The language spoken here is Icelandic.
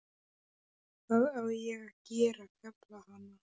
Hvað á ég að gera, kefla hana?